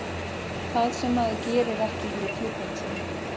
Það sem að maður gerir ekki fyrir klúbbinn sinn.